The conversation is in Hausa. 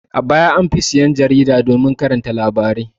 A baya an fi sayan jarida domin karanta labarai.